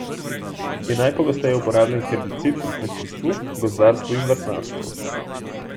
Je najpogosteje uporabljen herbicid v kmetijstvu, gozdarstvu in vrtnarstvu.